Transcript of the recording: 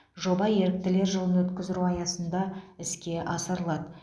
жоба еріктілер жылын өткіздіру аясында іске асырылады